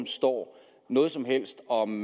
står noget som helst om